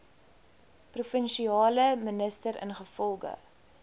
provinsiale minister ingevolge